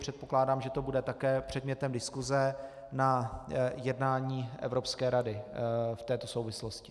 Předpokládám, že to bude také předmětem diskuse na jednání Evropské rady v této souvislosti.